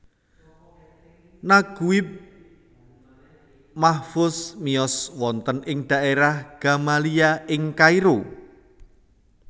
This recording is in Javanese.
Naguib Mahfouz miyos wonten ing daerah Gamaliya ing Kairo